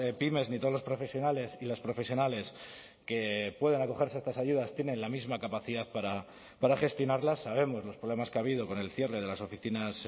pymes ni todos los profesionales y las profesionales que puedan acogerse a estas ayudas tienen la misma capacidad para gestionarlas sabemos los problemas que ha habido con el cierre de las oficinas